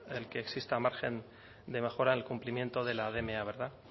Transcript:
el que existan margen de mejora en el cumplimiento de la dma verdad